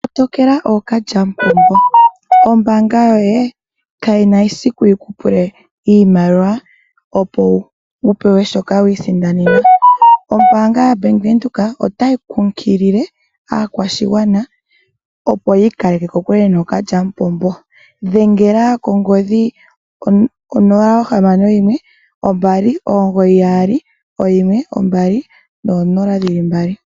Kotokela ookalyamupombo, ombaanga yoye kayina esiku yikupul iimaliwa opo wu pewe shoka wi isindanena. Ombaanga yaBank Windhoek otayi kunkilile aakwashigwana opo yi ikaleke kokule nookalyamupombo. Dhengela kongodhi yo0612991200.